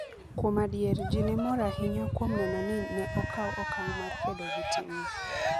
Kuom adier, ji ne mor ahinya kuom neno ni ne okaw okang ' mar kedo gi timno.